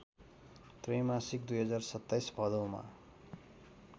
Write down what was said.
त्रैमासिक २०२७ भदौमा